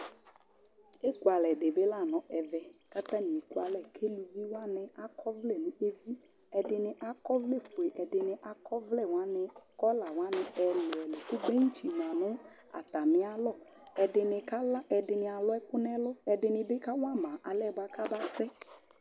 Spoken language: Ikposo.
Ekʊalɛ dɩ bɩ la nʊ ɛvɛ kʊ atanɩ ekʊalɛ kʊ ʊlʊvɩ wanɩ akɔvlɛ nʊ evi Ɛdɩnɩ akɔvlɛfoe, ɛdɩnɩ akɔvlɛ wani kɔla wanɩ ɛlʊ ɛlʊ kʊ ɩtsɩ ma nʊ atami alɔ Ɛdɩnɩ kala ɛdɩnɩ alʊ ɛkʊ nʊ ɛlʊ ɛdɩnɩ bɩ kawama alɛ nɛ kabasɛ